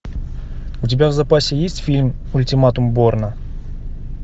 у тебя в запасе есть фильм ультиматум борна